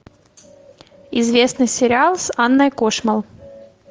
известный сериал с анной кошмал